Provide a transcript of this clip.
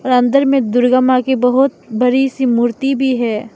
और अंदर मे दुर्गा मां की बहोत बड़ी सी मूर्ति भी है।